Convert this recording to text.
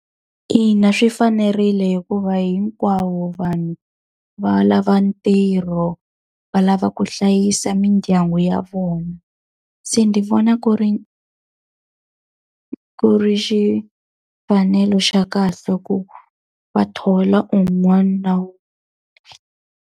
Ina swi fanerile hikuva hinkwavo vanhu va lava ntirho, va lava ku hlayisa mindyangu ya vona. Se ndzi vona ku ri ku ri xa kahle ku va thola un'wana .